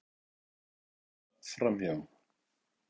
Horfa hérna framhjá!